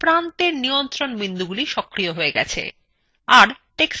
প্রান্তের নিয়ন্ত্রণ বিন্দুগুলি সক্রিয় হয়ে গেছে